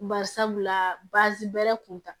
Bari sabula baasi bɛrɛ kun ta